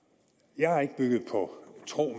jeg har ikke bygget det på tro